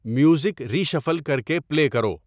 music reshuffle کر کے play کرو